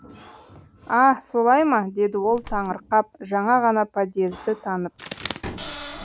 а солай ма деді ол таңырқап жаңа ғана подьезді танып